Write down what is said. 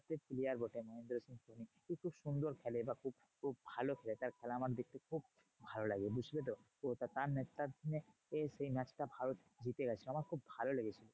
একটা player বটে মহেন্দ্র সিং ধোনি। খুব সুন্দর খেলে বা খুব খুব ভালো খেলে তার খেলা আমার দেখতে খুব ভালো লাগে, বুঝলে তো? তার নেতৃত্বাধীনে সেই match টা ভারত জিতেগেছিলো। আমার খুব ভালো লেগেছিলো।